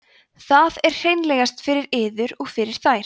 það er hreinlegast fyrir yður og fyrir þær